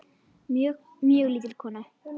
Mjög, mjög lítil kona.